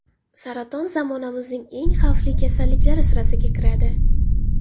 Saraton zamonamizning eng xavfli kasalliklari sirasiga kiradi.